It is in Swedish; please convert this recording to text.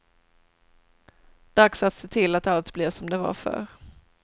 Dags att se till att allt blir som det var förr.